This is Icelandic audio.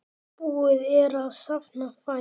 Búið er að safna fé.